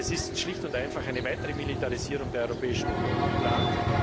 Es ist schlicht und einfach eine weitere Militarisierung der Europäischen Union geplant.